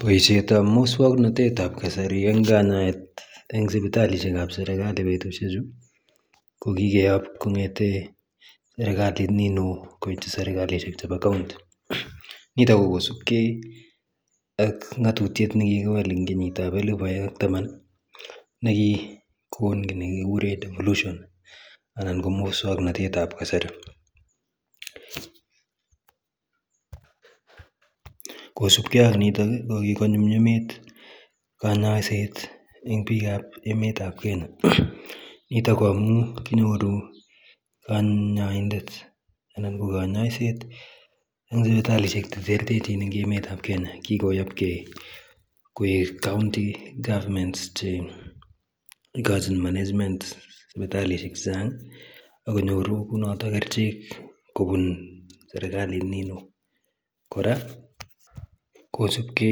Boisietab muswoknatetab kasari en kanyaet en sipitalisiekab serikali betusiechu kokikeyob kong'eten serikalit niwon koityi serikalisiek chebo county nito kokosipke ak ng'atutiet nekikiwal kongen kenyitab elbu aeng ak taman nekikon kit nekikuren devolutions anan ko muswoknatetab kasarikosipke ak nito kokikonyumnyumit kanyoiset en biikab emetab kenya niton ko amun kinyoru kanyoindet anan ko kanyoiset eng sipitalisiek cheterterchin eng emetab kenya kikoyobke koik county government che ikochin management sipitalisiek chechang akonyoru kunoto kerichek kobun serikali nini won, kora kosipke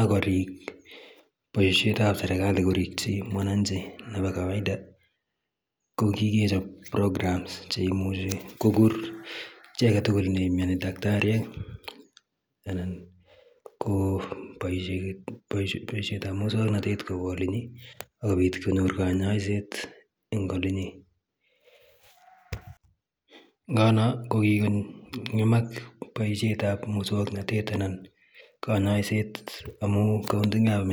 akorik boisietab serikali korikyik mwananchi nebo kawaida ko kikechop program cheimuchi kokur icheket tugul cheimiani en daktariek anan ko boisietab muswoknatetab kokolen ii sipit konor kanyoiset engolenyin nganyon kokiko ngemak boisietab muswoknatetab anan kanyoiset amun en county government.